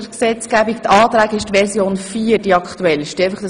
Bei den Änderungsanträgen ist die Version 4 die aktuellste.